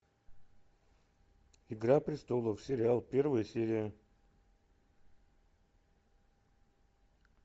игра престолов сериал первая серия